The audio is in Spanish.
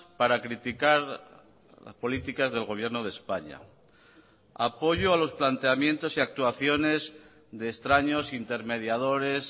para criticar las políticas del gobierno de españa apoyo a los planteamientos y actuaciones de extraños intermediadores